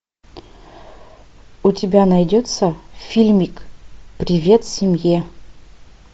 у тебя найдется фильмик привет семье